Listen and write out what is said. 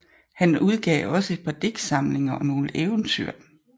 Han udgav også et par digtsamlinger og nogle eventyr